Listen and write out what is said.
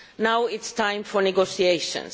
Now it is time for negotiations.